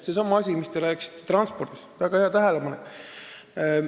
Seesama transport, millest te rääkisite – väga hea tähelepanek!